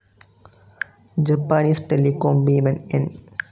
Japanese telecom ഭീമൻ N.